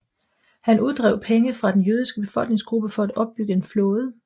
Han uddrev penge fra den jødiske befolkningsgruppe for at opbygge en flåde